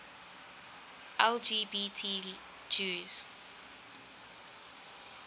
lgbt jews